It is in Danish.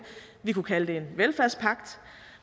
vi kunne kalde det en velfærdspagt